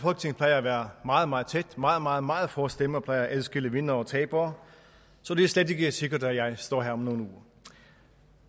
plejer at være meget meget tæt meget meget meget få stemmer plejer at adskille vindere og tabere og det slet ikke sikkert at jeg står her om nogle uger